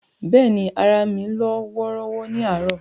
But ni, ara mi lọ́ wọ́ọ́rọ́wọ́ ni àárọ̀.